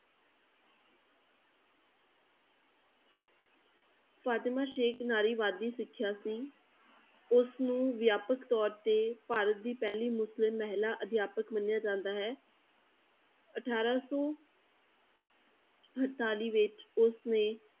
ਫ਼ਾਤਿਮਾ ਸੇਖ਼ ਨਾਰੀਵਾਦੀ ਸਿੱਖਿਆ ਸੀ, ਉਸਨੂੰ ਵਿਆਪਕ ਤੌਰ ਤੇ ਭਾਰਤ ਦੀ ਪਹਿਲੀ ਮੁਸਲਿਮ ਮਹਿਲਾ ਅਧਿਆਪਕ ਮੰਨਿਆ ਜਾਂਦਾ ਹੈ ਅਠਾਰਾਂ ਸੌ ਅੜਤਾਲੀ ਵਿੱਚ ਉਸਨੇ